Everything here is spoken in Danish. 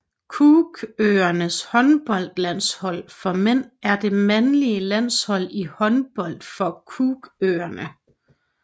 Cookøernes håndboldlandshold for mænd er det mandlige landshold i håndbold for Cookøerne